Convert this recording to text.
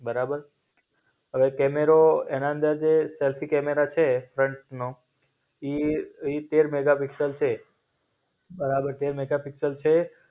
બરાબર. અવે કેમેરો, એના અંદર જે સેલ્ફી કેમેરા છે ફ્રન્ટનો, ઈ ઈ તેર મેગાપિક્સલ છે. બરાબર તેર મેગાપિક્સલ છે.